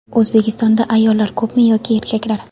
O‘zbekistonda ayollar ko‘pmi yo erkaklar?.